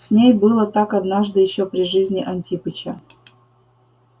с ней было так однажды ещё при жизни антипыча